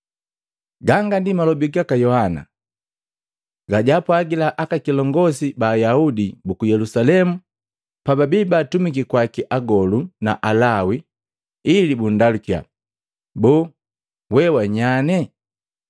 Ganga ndi malobi gaka Yohana gajaapwagila aka kilongosi ba Ayaudi buku Yelusalemu pababi baatumiki kwaki agolu na Alawi ili bundalukiya, “Boo we wa nyanye?”